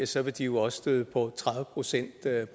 så vil de jo også støde på tredive procent